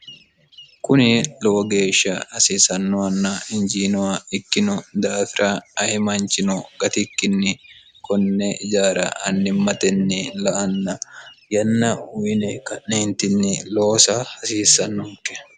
kuni lowo geeshsha hasiisannohanna injiinoha ikkino daafira ayi manchino gatikkinni konne ijaara annimmatenni la'anna yanna uyine ka'neentinni loosa hasiissannonke